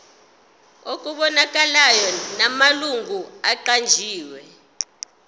okubonakalayo namalungu aqanjiwe